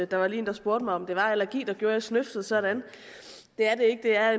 der var lige en der spurgte mig om det er allergi der gør at jeg snøfter sådan det er det ikke det er